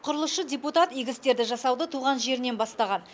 құрылысшы депутат игі істерді жасауды туған жерінен бастаған